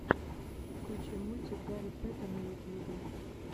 включи мультик гарри пэта на ютьюбе